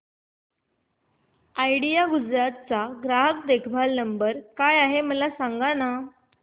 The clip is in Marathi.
आयडिया गुजरात चा ग्राहक देखभाल नंबर काय आहे मला सांगाना